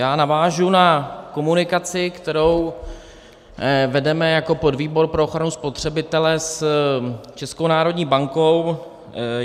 Já navážu na komunikaci, kterou vedeme jako podvýbor pro ochranu spotřebitele s Českou národní bankou.